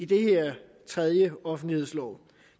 den her tredje offentlighedslov